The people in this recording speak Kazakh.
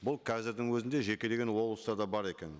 бұл қазірдің өзінде жекелеген облыстарда бар екен